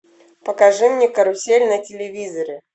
покажи мне карусель на телевизоре